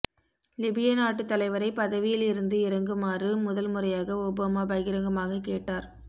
லிபிய நாட்டு தலைவரை பதவியில் இருந்து இறங்குமாறு முதல் முறையாக ஒபாமா பகிரங்கமாக கேட்டார்